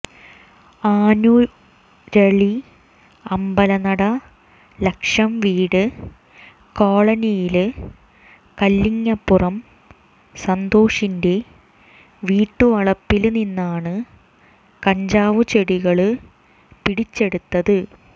ആനുരളി അമ്പലനട ലക്ഷംവീട് കോളനിയില് കല്ലിങ്ങപ്പുറം സന്തോഷിന്റെ വീട്ടുവളപ്പില്നിന്നാണ് കഞ്ചാവുചെടികള് പിടിച്ചെടുത്തത്